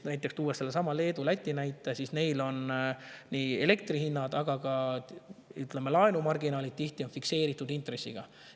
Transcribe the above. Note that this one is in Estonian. Toon sellesama Leedu ja Läti näite: neil on elektri hinnad, aga ka, ütleme, laenumarginaalid tihti fikseeritud intressiga.